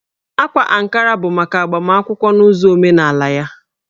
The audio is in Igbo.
Ákwá Ankara bụ maka agbamakwụkwọ n'ụzọ omenaalaya